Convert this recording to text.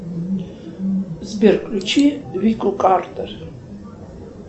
сбер включи вику картер